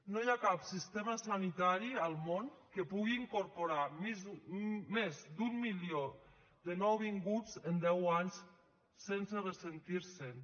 no hi ha cap sistema sanitari al món que pugui incorporar més d’un milió de nouvinguts en deu anys sense ressentir se’n